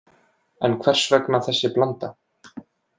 En hvers vegna þessi blanda